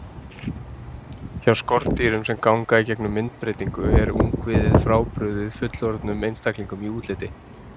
Hjá skordýrum sem ganga í gegnum myndbreytingu er ungviðið frábrugðið fullorðnum einstaklingum í útliti.